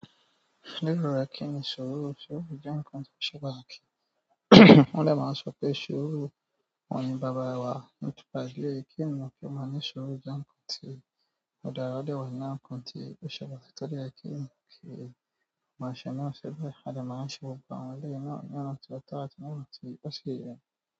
Lérò rẹ kí ni ìṣòro? Ìṣòro jẹ́ ǹkan tó ṣẹba akí. Wọ́n dè máa sọ pé sope sùúrù ohun ni baba ìwà, nípa eleyii kìí ènìyàn kí o máa ní sùúrù jẹ́ ǹnkan tí ọ̀ dára o de wà nínú àwọn tí o ṣẹ̀ pàtàkì to dẹ yẹ kì í ènìyàn ki o má ṣe náà ṣi bẹ̀. À de máa ń ṣe gbogbo àwọn eléyìí náà ni ọ̀nà ti o tó àti ni ọnà ti ó ṣi yé.